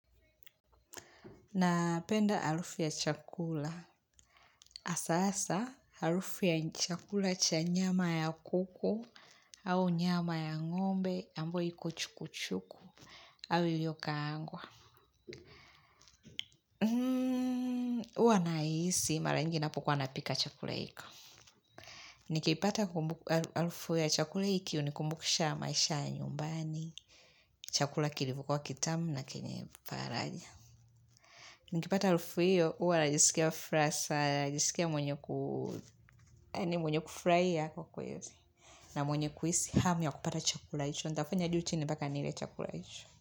Napenda arufu ya chakula. Asa asa, arufu ya chakula cha nyama ya kuku au nyama ya ngombe ambyo iko chukuchuku au yu yo kaangwa. Huwa nahisi, mara nyingi ninapokuwa napika chakula hiko. Nikipata arufu ya chakula hiki hunikumbukisha maisha ya nyumbani, chakula kilivo kuwa kitamu na kiniparanya. Nikipata harufu hiyo, uwa najisikia furaha sana, majisikia mwenye kufurahia kwa kwezi. Na mwenye kuhisi, ham ya kupata chakula hicho, nitafanya juu chini mbaka nile chakula hiyo.